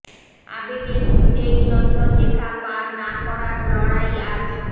আবেগের যুদ্ধে নিয়ন্ত্রণ রেখা পার না করার লড়াই আজ